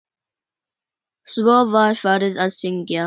Svo var farið að syngja.